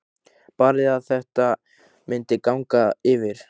Barði að þetta myndi ganga yfir.